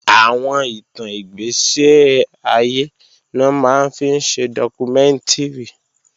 Àwọn ìtàn ìgbẹ̀séayé ni wọ́n máa ń fi ṣe dọ́kúmẹ́ǹtìrì